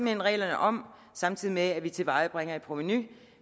hen reglerne om samtidig med at vi tilvejebringer et provenu